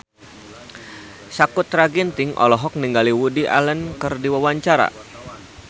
Sakutra Ginting olohok ningali Woody Allen keur diwawancara